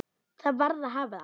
Það varð að hafa það.